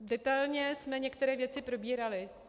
Detailně jsme některé věci probírali.